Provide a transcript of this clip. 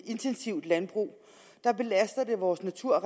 intensivt landbrug belaster det vores natur